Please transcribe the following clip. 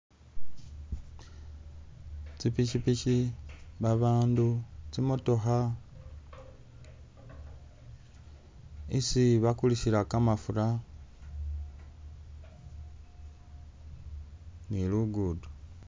Tsipikipiki, babandu, tsimotokha, isi bakulisila kamafura, ni lugudo.